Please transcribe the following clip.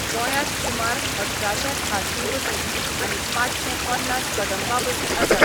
गोंयात सुमार अठराशें खाजगी बसी आनी पाचशें पन्नास कदंबा बसी आसात.